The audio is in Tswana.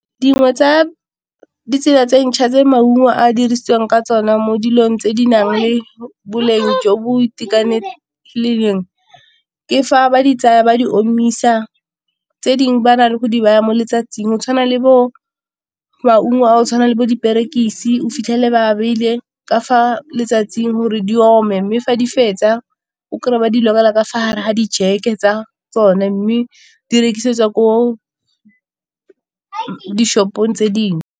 Dingwe tsa ditsela tse dintšha tse maungo a dirisiwang ka tsona mo dilong tse di nang le boleng jo bo , ke fa ba di tsaya ba di omisa tse dingwe ba na le go di baya mo letsatsing, go tshwana le bo maungo a go tshwana le bo diperekisi o fitlhele ba a beile ka fa letsatsing gore di ome, mme fa di fetsa o kry-e ba lokela ka fa gare ga di jake tsa tsone, mme di rekisetswa ko di-shop-ong tse dingwe.